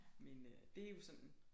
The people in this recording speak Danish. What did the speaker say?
Men øh det jo sådan